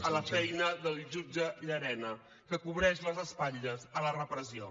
a la feina del jutge llarena que cobreix les espatlles a la repressió